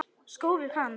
Skórnir hans.